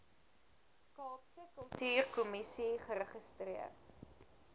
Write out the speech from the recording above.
kaapse kultuurkommissie geregistreer